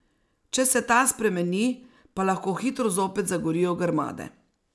Če se ta spremeni, pa lahko hitro zopet zagorijo grmade.